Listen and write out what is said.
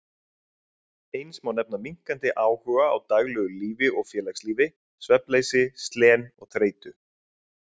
Eins má nefna minnkandi áhuga á daglegu lífi og félagslífi, svefnleysi, slen og þreytu.